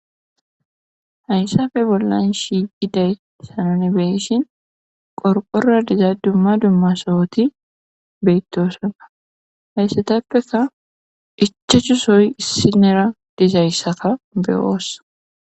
Hayssappe bollan shiiqiday tani beyishin qorqora diza dumma dumma sohoti beyttosana hayssatappeka ichachu soyi issinera dizayssaka be7oosa.